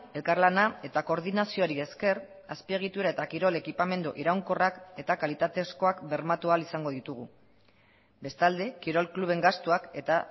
elkarlana eta koordinazioari esker azpiegitura eta kirol ekipamendu iraunkorrak eta kalitatezkoak bermatu ahal izango ditugu bestalde kirol kluben gastuak eta